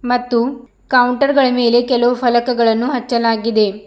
ಮತ್ತು ಕೌಂಟರ್ ಗಳ ಮೇಲೆ ಕೆಲವು ಫಲಕಗಳನ್ನು ಹಚ್ಚಲಾಗಿದೆ.